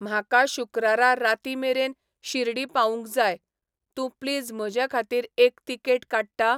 म्हाका शुक्रारा रातींमेरेन शिर्डी पावूंक जाय. तूं प्लीज म्हजेखातीर एक तिकेट काडटा?